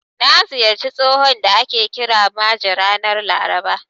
Na ziyarci tsohon da ake kira Maje ranar Laraba.